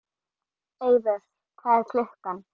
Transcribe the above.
Eivör, hvað er klukkan?